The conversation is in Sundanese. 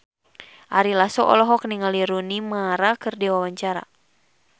Ari Lasso olohok ningali Rooney Mara keur diwawancara